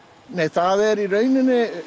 nei það er í raun